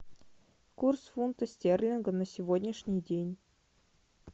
курс фунта стерлинга на сегодняшний день